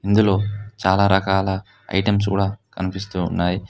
ఇందులో చాలా రకాల ఐటమ్స్ కూడా కనిపిస్తూ ఉన్నాయి